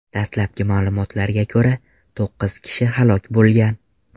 Dastalabki ma’lumotlarga ko‘ra, to‘qqiz kishi halok bo‘lgan.